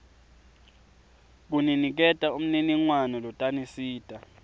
kuniniketa umniningwane lotanisita